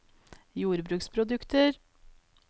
jordbruksprodukter